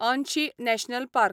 Anshi national park